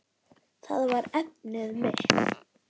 Það var efnið mitt.